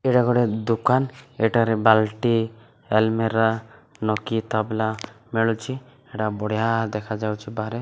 ଏଇଟା ଗୋଟେ ଦୋକାନ ଏଠାରେ ବାଲ୍ଟି ଆଲମିରା ଲକ କୀ ତାବଲା ମିଳୁଛି ଏ ଟା ବଢିଆ ଦେଖାଯାଉଛି ବାହାରେ।